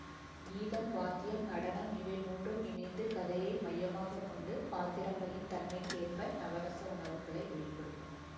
கீதம் வாத்தியம் நடனம் இவைமூன்றும் இணைந்து கதையை மையமாகக்கொண்டு பாத்திரங்களின் தன்மைக்கேற்ப நவரச உணர்வுகளை வெளி படுத்தும்